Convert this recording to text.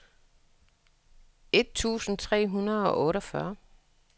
et tusind tre hundrede og otteogfyrre